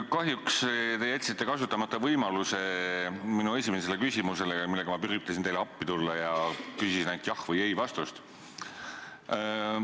Kahjuks te jätsite kasutamata võimaluse vastata minu esimesele küsimusele, millega ma üritasin teile appi tulla ja küsisin ainult jah- või ei-vastust.